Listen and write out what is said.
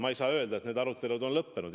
Ma ei saa öelda, et need arutelud on lõppenud.